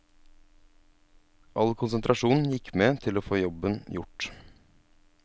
All konsentrasjon gikk med til å få jobben gjort.